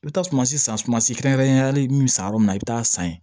I bɛ taa sumansi san sumansi kɛrɛnkɛrɛnnenya la min bɛ san yɔrɔ min na i bɛ taa san yen